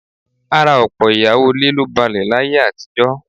Ara ọ̀pọ̀ ìyàwó ilé ló balẹ̀ láyé àtijọ́